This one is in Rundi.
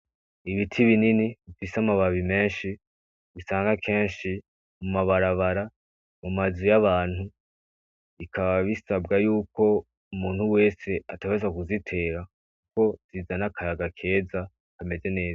Ibiti binini bifise amababi menshi usanga kenshi mu mabarabara mu mazu y'abantu bikaba bisabwa yuko umuntu wese ategerezwa kubitera kuko bizana akayaga keza kameze neza.